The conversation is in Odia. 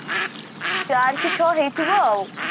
ଚାରି କି ଛ ହେଇଥିବ ଆଉ